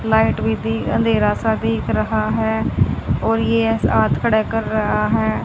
Light भी दि अंधेरा सा दिख रहा है और ये खड़े कर रहा है।